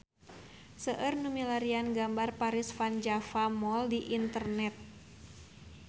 Seueur nu milarian gambar Paris van Java Mall di internet